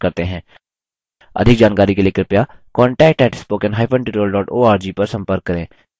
अधिक जानकारी के लिए कृपया contact at spoken hyphen tutorial dot org पर संपर्क करें